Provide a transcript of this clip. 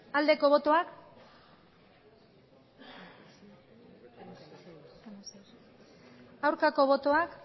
aldeko botoak aurkako botoak